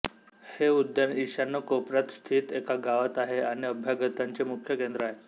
हे उद्यान ईशान्य कोपर्यात स्थित एका गावात आहे आणि अभ्यागतांचे मुख्य केंद्र आहे